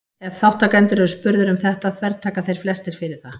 ef þátttakendur eru spurðir um þetta þvertaka þeir flestir fyrir það